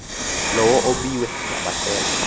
lowo ubiwe ngamasela